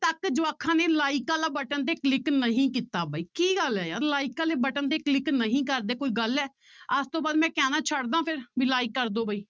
ਤੱਕ ਜਵਾਕਾਂ ਨੇ like ਵਾਲਾ button ਤੇ click ਨਹੀਂ ਕੀਤਾ ਬਾਈ ਕੀ ਗੱਲ ਹੈ ਯਾਰ like ਵਾਲੇ button ਤੇ click ਨਹੀਂ ਕਰਦੇ ਕੋਈ ਗੱਲ ਹੈ, ਅੱਜ ਤੋਂ ਬਾਅਦ ਮੈਂ ਕਹਿਣਾ ਛੱਡ ਦੇਵਾਂ ਫਿਰ ਵੀ like ਕਰ ਦਓ ਬਾਈ